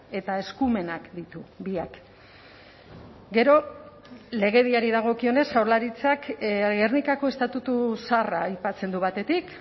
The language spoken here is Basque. eta eskumenak ditu biak gero legediari dagokionez jaurlaritzak gernikako estatutu zaharra aipatzen du batetik